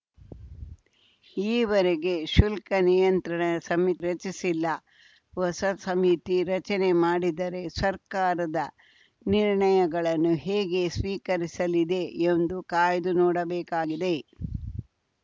ಈವರೆಗೆ ಶುಲ್ಕ ನಿಯಂತ್ರಣ ಸಮಿತಿ ರಚಿಸಿಲ್ಲ ಹೊಸ ಸಮಿತಿ ರಚನೆ ಮಾಡಿದರೆ ಸರ್ಕಾರದ ನಿರ್ಣಯಗಳನ್ನು ಹೇಗೆ ಸ್ವೀಕರಿಸಲಿದೆ ಎಂದು ಕಾಯ್ದು ನೋಡಬೇಕಾಗಿದೆ